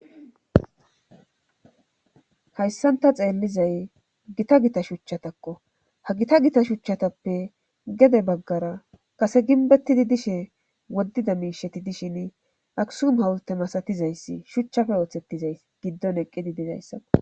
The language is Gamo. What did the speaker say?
hayssan ta xeellizay gita gita shuchchatakko ha gita gita shuchchatappe gede baggara kase ginbettidi dishe woddida miisheti dishin asuumu hawte masatizayssi shuchchafe ooththettizays giddon eqqidi dizayssako